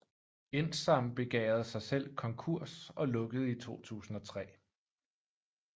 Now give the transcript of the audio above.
Indsam begærede sig selv konkurs og lukkede i 2003